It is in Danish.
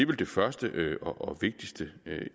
vel det første og vigtigste